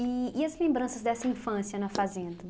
E e as lembranças dessa infância na Fazenda?